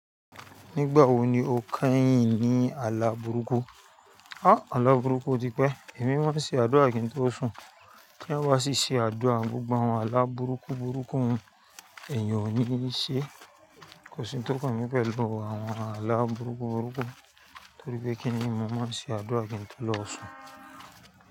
Nígbà wo ni o keyìn ní ààlà burúkú? Ah! Ààlà burúkú o tipẹ́, èmi máa ń ṣe àdúrà kí n tó sùn. Ti èèyàn ba sì ṣe àdúrà, gbogbo àwọn ààlà burúkú burúkú èèyàn ò ní í ṣe. Kò sí ń tọ́ kan mí pẹ̀lú àwọn ààlà burúkú burúkú torí pé kí nìí, mo máa ń ṣe àdúrà kí n tó lọ sùn.